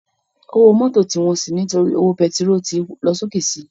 Ówó mòtó ti wòn si nitóri ówó pètiról tó lòsóké si